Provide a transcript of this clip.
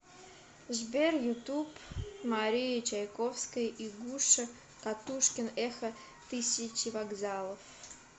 сбер ютуб мария чайковская и гуша катушкин эхо тысячи вокзалов